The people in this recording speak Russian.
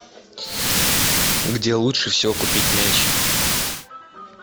где лучше всего купить мяч